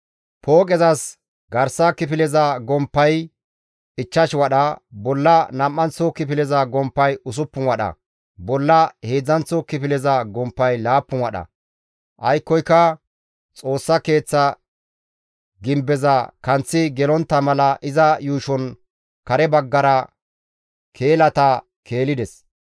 Pooqezas garsa kifileza gomppay 5 wadha, bolla nam7anththo kifileza gomppay 6 wadha, bolla heedzdzanththo kifileza gomppay 7 wadha; aykkoyka Xoossa Keeththa gimbeza kanththi gelontta mala iza yuushon kare baggara keelata keelides.